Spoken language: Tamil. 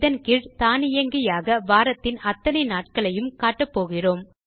இதன் கீழ் தானியங்கியாக வாரத்தின் அத்தனை நாட்களையும் காட்டப்போகிறோம்